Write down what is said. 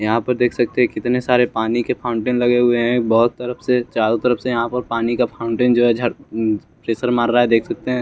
यहाँ पे देख सकते हैं कितने सारे पानी के फाउंटेन लगे हुए हैं बहुत तरफ से चारो तरफ से यहाँ पर पानी का फाउंटेन जो हैं झ प्रेसर मार रहा हैं देख सकते हैं।